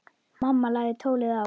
Mamma lagði tólið á.